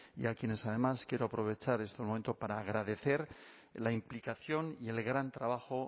y a quienes además quiero aprovechar este momento para agradecer la implicación y el gran trabajo